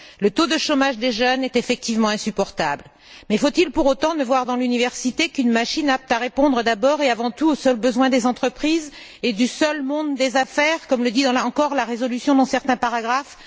Le taux de chômage des jeunes est effectivement insupportable. Mais faut il pour autant ne voir dans l'université qu'une machine apte à répondre, d'abord et avant tout, aux seuls besoins des entreprises et du monde des affaires, comme le dit encore la résolution dans certains paragraphes?